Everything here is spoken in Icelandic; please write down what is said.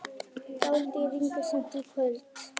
Dálítil rigning seint í kvöld